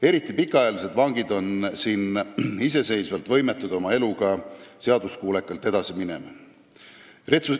Eriti just pikaajalised vangid on iseseisvalt võimetud oma eluga seaduskuulekalt edasi minema.